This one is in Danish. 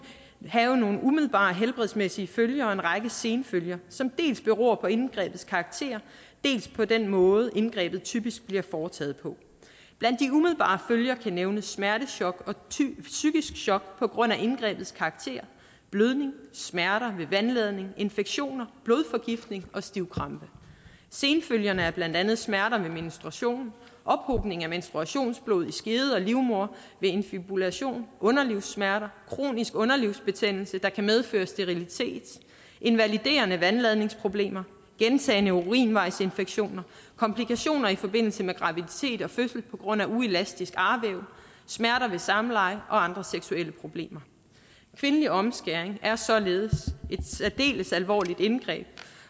have nogle umiddelbare helbredsmæssige følger og en række senfølger som dels beror på indgrebets karakter dels på den måde indgrebet typisk bliver foretaget på blandt de umiddelbare følger kan nævnes smertechok og psykisk chok på grund af indgrebets karakter blødning smerter ved vandladning infektioner blodforgiftning og stivkrampe senfølgerne er blandt andet smerter ved menstruation ophobning af menstruationsblod i skede og livmoder ved infibulation underlivssmerter kronisk underlivsbetændelse der kan medføre sterilitet invaliderende vandladningsproblemer gentagne urinvejsinfektioner komplikationer i forbindelse med graviditet og fødsel på grund af uelastisk arvæv smerter ved samleje og andre seksuelle problemer kvindelig omskæring er således et særdeles alvorligt indgreb